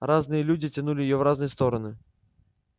разные люди тянули её в разные стороны